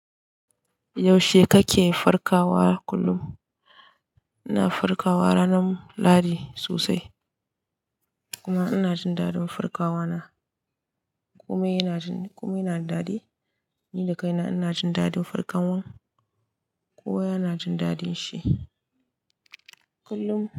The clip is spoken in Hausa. Yaushe kake farkawa kullum? Ina farkawa ranar Lahadi sosai. Kuma ina jin dadin farkawa na. Kuma yana jin, kuma yana da dadi. Ni da kaina ina jin daɗin farkawan. Kowa yana jin dadin shi kullum.